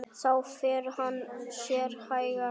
Þá fer hann sér hægar.